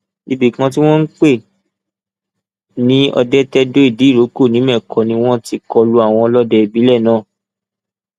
ibì kan tí wọn ń pè ní ọdẹtẹdóìdíìrókò nìmẹkọ ni wọn ti kọ lu àwọn ọlọdẹ ìbílẹ náà